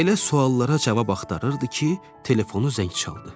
Elə suallara cavab axtarırdı ki, telefonu zəng çaldı.